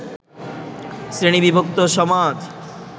শ্রেণীবিভক্ত সমাজ